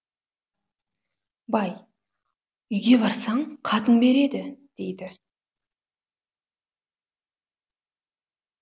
бай үйге барсаң қатын береді дейді